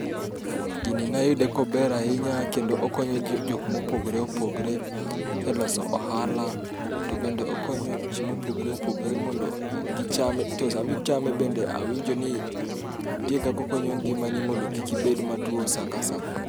Gini nayude kober ahinya kendo okonyo ji jok mopogore opogre e loso ohala. To bende okonyo ji mopogore opogre mondo gicham. To sami chame bende awinjo ni nitie kakokonyo ngima ni mondo kik ibed matuo sa ka sa.